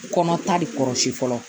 Kɔnɔ ta de kɔrɔsi fɔlɔ